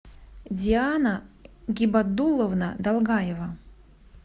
диана гибаддуловна долгаева